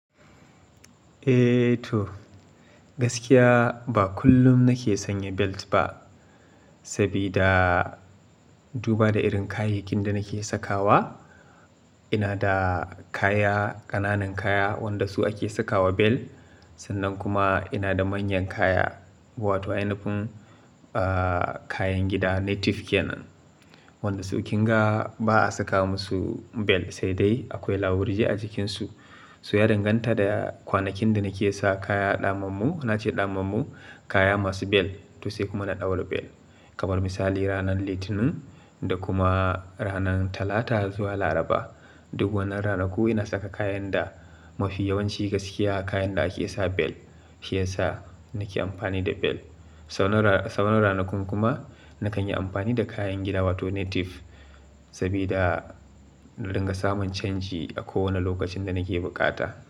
Ehhh toh, gaskiya ba kullum nake sanya belt ba. Sabida duba da irin kayakin da nake sakawa, ina da kaya, ƙananan kaya wanda su ake sakawa bel, sannan kuma ina da manyan kaya wato ainafin, ah, kayan gida native kenan. Wanda su ƙinga ba a saka musu bel sai dai akwai lawurji a jikinsu. Toh ya danganta da kwanakin da nake sa kaya ɗamammu, naci ɗamammu kaya masu bel to sai kuma na ɗaura bel. Kamar misali ranar Litinin da kuma ranar Talata zuwa Laraba. Duk wannan ranaku ina saka kayan da mafi yawanci gaskiya kayan da ake sa bel shi yasa nake amfani da bel. Saura ran sauran ranakun kuma nakan yi amfani da kayan gida wato native. Sabida in dinga samun canji a kowane lokacin da nake buƙata.